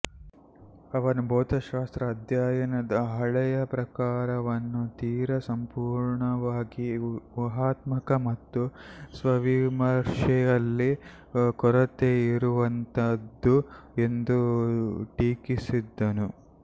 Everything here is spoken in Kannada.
ಅವನು ಭೌತಶಾಸ್ತ್ರದ ಅಧ್ಯಯನದ ಹಳೆಯ ಪ್ರಕಾರವನ್ನು ತೀರಾ ಸಂಪೂರ್ಣವಾಗಿ ಊಹಾತ್ಮಕ ಮತ್ತು ಸ್ವವಿಮರ್ಶೆಯಲ್ಲಿ ಕೊರತೆಯಿರುವಂಥದ್ದು ಎಂದು ಟೀಕಿಸಿದನು